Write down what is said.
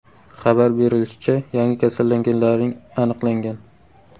Xabar berilishicha, yangi kasallanganlarning aniqlangan.